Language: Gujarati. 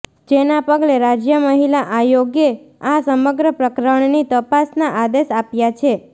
જેના પગલે રાજય મહિલા આયોગે આ સમગ્ર પ્રકરણની તપાસના આદેશ આપ્યા છે